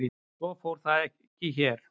Svo fór þó ekki hér.